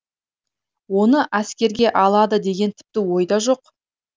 оны әскерге алады деген тіпті ойда жоқ